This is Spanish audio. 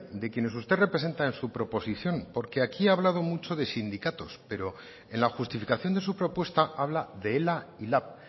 de quienes usted representa en su proposición porque aquí ha hablado mucho de sindicatos pero en la justificación de su propuesta habla de ela y lab